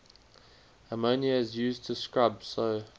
ammonia is used to scrub so